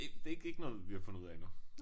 Ikke det ikke ikke noget vi har fundet ud af endnu